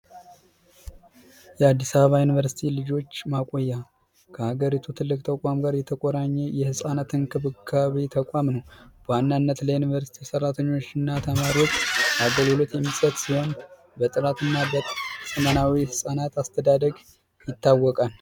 የአዲስ አበባ ዩኒቨርሲቲ ልጆች ማቆያ ከሀገሪቱ ትልቅ ተቋም ጋር የተቆራኘ የህጻናት እንክብካቤነት ላይ ዩኒቨርስቲ የሠራተኞችና ተማሪዎች አገልግሎት ሲሆን በጥናትናኤል ህጻናት አስተዳደግ ይታወቃል